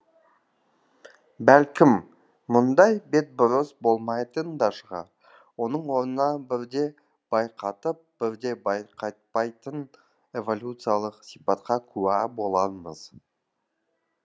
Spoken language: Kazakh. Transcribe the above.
бәлкім мұндай бетбұрыс болмайтын да шығар оның орнына бірде байқатып бірде байқатпайтын эволюциялық сипатқа куә болармыз